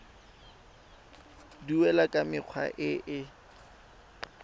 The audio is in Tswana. duelwa ka mekgwa e e